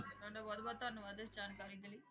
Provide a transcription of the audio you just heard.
ਤੁਹਾਡਾ ਬਹੁਤ ਬਹੁਤ ਧੰਨਵਾਦ ਇਸ ਜਾਣਕਾਰੀ ਦੇ ਲਈ।